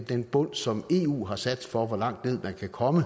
den bund som eu har sat for hvor langt ned man kan komme